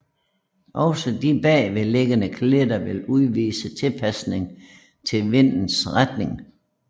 Også de bagved liggende klitter vil udvise tilpasning til vindens retning